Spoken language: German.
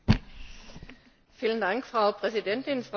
Frau Präsidentin, Frau Kommissarin!